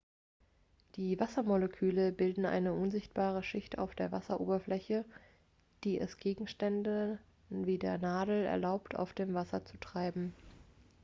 die wassermoleküle bilden eine unsichtbare schicht auf der wasseroberfläche die es gegenständen wie der nadel erlaubt auf dem wasser zu treiben